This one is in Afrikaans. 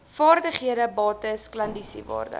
vervaardigde bates klandisiewaarde